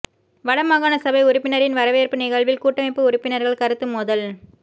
வடமாகாண சபை உறுப்பினரின் வரவேற்பு நிகழ்வில் கூட்டமைப்பு உறுப்பினர்கள் கருத்து மோதல்